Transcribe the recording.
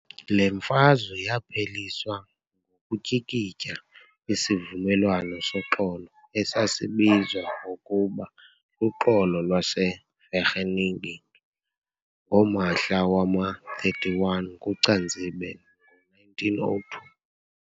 Le mfazwe yapheliswa ukutyikitya isivumelwano soxolo esasibizwa ngokuba luxolo lwase Vereeniging ngomahla wama-31 kuCanzibe ngo-1902.